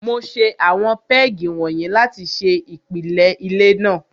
Mo ṣe àwọn pégì wọ̀nyí láti ṣe ìpìlẹ ilé náà.